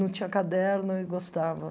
Não tinha caderno e gostava.